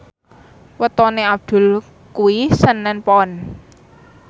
wetone Abdul kuwi senen Pon